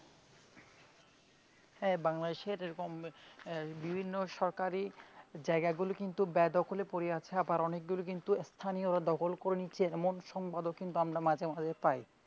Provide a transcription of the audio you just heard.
হ্যাঁ বাংলাদেশের এবং আহ বিভিন্ন সরকারি জায়গা গুলি কিন্তু বে-দখল এ পড়ে আছে আবার অনেকগুলি কিন্তু স্থানীয় রা দখল করে নিচ্ছে এরোম সংবাদও কিন্তু আমরা মাধ্যমে মাঝে মাঝে পাই।